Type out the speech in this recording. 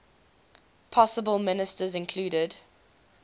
possible ministers included